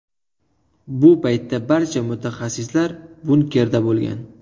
Bu paytda barcha mutaxassislar bunkerda bo‘lgan.